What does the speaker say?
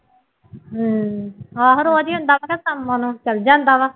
ਹਮ ਆਹੋ ਰੋਜ਼ ਹੀ ਹੁੰਦਾ ਕੰਮ ਉਹਨੂੰ ਚਲੇ ਜਾਂਦਾ ਵਾ